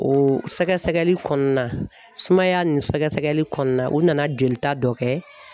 O sɛgɛsɛgɛli kɔnɔna sumaya nin sɛgɛsɛgɛli kɔnɔna o nana jolita dɔ kɛ